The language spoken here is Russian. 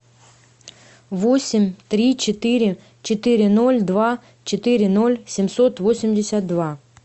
восемь три четыре четыре ноль два четыре ноль семьсот восемьдесят два